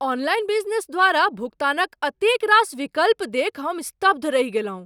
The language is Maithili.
ऑनलाइन बिजनेस द्वारा भुगतानक एतेक रास विकल्प देखि हम स्तब्ध रहि गेलहुँ।